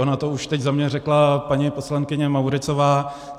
Ona to už teď za mě řekla paní poslankyně Mauritzová.